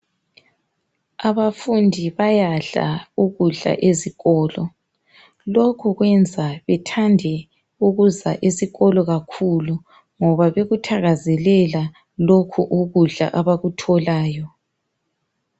Abafundi bayadla ukudla ezikolo , lokhu kwenza bethande ukuza esikolo kakhulu ngoba bekuthakazelela lokhu ukudla abakutholayo